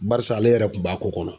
Barisa ale yɛrɛ kun b'a ko kɔnɔ.